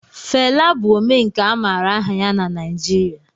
Fela bụ Omenkà a maara aha ya na Naijiria